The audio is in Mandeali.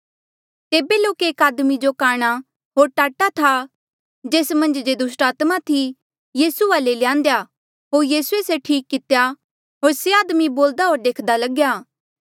तेबे लोके एक आदमी जो काणा होर टाटा था जेस मन्झ जे दुस्टात्मा थी यीसू वाले ल्यान्देया होर यीसूए से ठीक कितेया होर से आदमी बोल्दा होर देख्दा लग्या